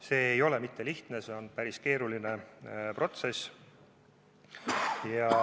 See pole sugugi mitte lihtne, vaid see on päris keeruline protsess.